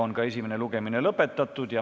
Esimene lugemine on lõpetatud.